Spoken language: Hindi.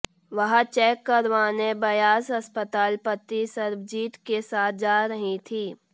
वह चैक करवाने ब्यास अस्पताल पति सर्बजीत के साथ जा रही थी